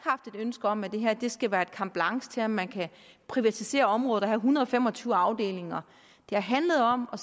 ønske om at det her skal være et carte blanche til at man kan privatisere området og have en hundrede og fem og tyve afdelinger det har handlet om at